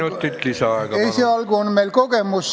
Kolm minutit lisaaega.